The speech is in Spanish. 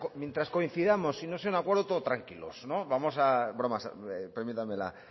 mientras coincidamos y si no es en un acuerdo todos tranquilos permítame